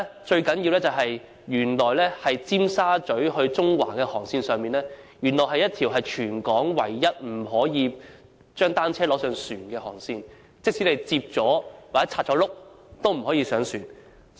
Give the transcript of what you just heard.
最重要的一點是，尖沙咀至中環的航線是全港唯一一條不准攜帶單車登船的航線，即使把單車摺起來或拆除車輪也不可以。